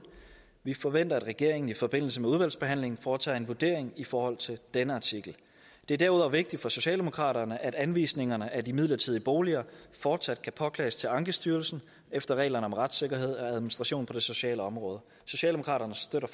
vi forventer at regeringen i forbindelse med udvalgsbehandlingen foretager en vurdering i forhold til denne artikel det er derudover vigtigt for socialdemokraterne at anvisningerne af de midlertidige boliger fortsat kan påklages til ankestyrelsen efter reglerne om retssikkerhed og administration på det sociale område socialdemokraterne støtter